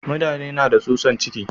Mutane na da tsutsan ciki.